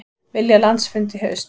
Vilja landsfund í haust